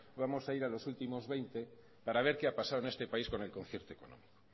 vamos a ir a los últimos veinte para ver qué pasado en este país con el concierto económico